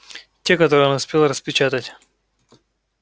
те которые он успел распечатать